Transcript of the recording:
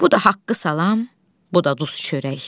Bu da haqqı salam, bu da duz çörək.